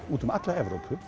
úti um alla Evrópu